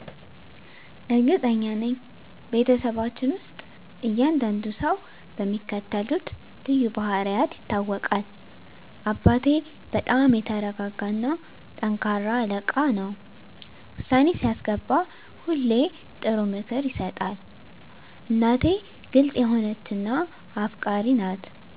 እርግጠኛ ነኝ፤ በቤተሰባችን ውስጥ እያንዳንዱ ሰው በሚከተሉት ልዩ ባህሪያት ይታወቃል - አባቴ በጣም የተረጋ እና ጠንካራ አለቃ ነው። ውሳኔ ሲያስገባ ሁሌ ጥሩ ምክር ይሰጣል። እናቴ ግልጽ የሆነች እና አፍቃሪች ናት።